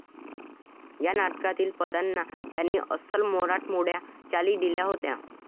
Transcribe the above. ह्या नाटकातील पदांना त्यांनी अस्सल मराठमोळ्या चाली दिल्या होत्या.